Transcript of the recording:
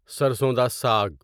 سرسون دا ساگ